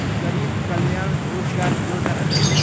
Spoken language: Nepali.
गरिब कल्याण रोजगार योजना